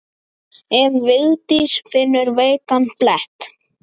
Ef Vigdís finnur veikan blett.